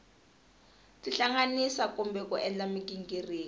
tihlanganisa kumbe ku endla mighingiriko